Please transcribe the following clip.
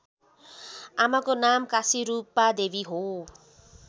आमाको नाम काशीरूपादेवी हो